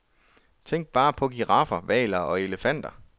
Tænk bare på giraffer, hvaler, eller elefanter.